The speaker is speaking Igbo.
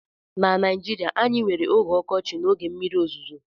na Naijirịa anyị nwere oge ọkọchị na oge mmiri ozuzo